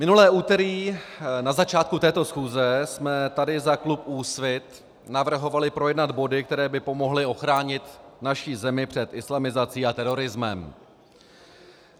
Minulé úterý na začátku této schůze jsme tady za klub Úsvit navrhovali projednat body, které by pomohly ochránit naši zemi před islamizací a terorismem.